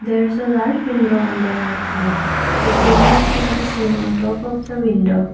there is a large window on the right side a tubelight can be seen on top of the window.